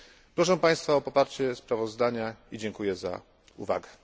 Proszę Państwa o poparcie sprawozdania i dziękuję za uwagę.